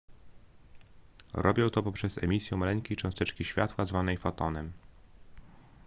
robią to poprzez emisję maleńkiej cząsteczki światła zwanej fotonem